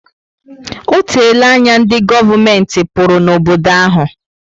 O teela anya ndi govumenti pụrụ na obodo ahu